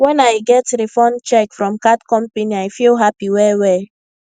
when i get refund check from card company i feel happy well well